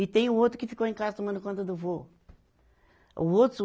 E tem o outro que ficou em casa tomando conta do vô. o outro